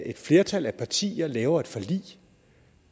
et flertal af partier laver et forlig